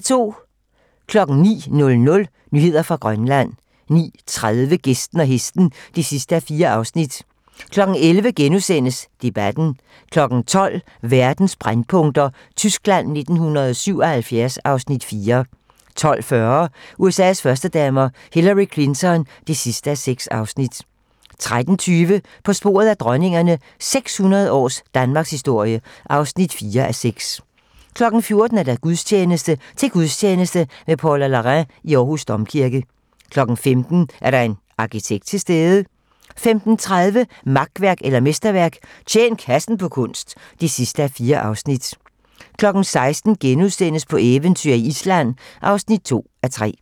09:00: Nyheder fra Grønland 09:30: Gæsten og Hesten (4:4) 11:00: Debatten * 12:00: Verdens brændpunkter: Tyskland 1977 (Afs. 4) 12:40: USA's førstedamer - Hillary Clinton (6:6) 13:20: På sporet af dronningerne - 600 års danmarkshistorie (4:6) 14:00: Gudstjeneste: Til gudstjeneste med Paula Larrain i Aarhus Domkirke 15:00: Er der en arkitekt til stede? 15:30: Makværk eller mesterværk - Tjen kassen på kunst (4:4) 16:00: På eventyr i Island (2:3)*